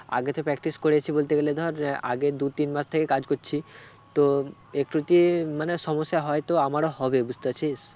আগে তো practice করেছি বলতে গেলে ধর আহ আগের দু তিন মাস থেকে কাজ করছি তো একটু তে মানে সমস্যা হয়তো আমারও হবে বুঝতে পারছিস?